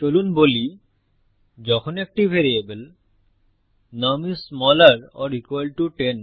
চলুন বলি যখন একটি ভ্যারিয়েবলnum is smaller or equal to 10